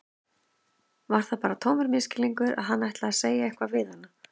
Var það bara tómur misskilningur að hann ætlaði að segja eitthvað við hana?